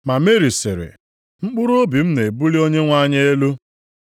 Ma Meri sịrị, “Mkpụrụobi m na-ebuli Onyenwe anyị elu